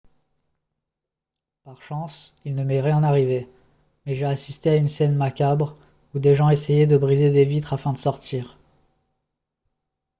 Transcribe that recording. par chance il ne m'est rien arrivé mais j'ai assisté à une scène macabre où des gens essayaient de briser des vitres afin de sortir